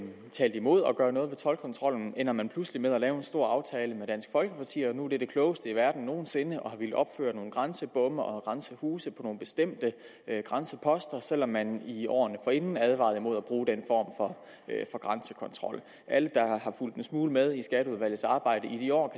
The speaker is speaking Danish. talte imod at gøre noget ved toldkontrollen endte man pludselig med at lave en stor aftale med dansk folkeparti og nu var det det klogeste i verden nogen sinde at ville opføre nogle grænsebomme og grænsehuse på nogle bestemte grænseposter selv om man i årene forinden advarede mod at bruge den form for grænsekontrol alle der har fulgt en smule med i skatteudvalgets arbejde i de år